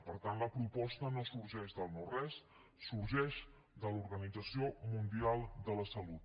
per tant la proposta no sorgeix del no res sorgeix de l’organització mundial de la salut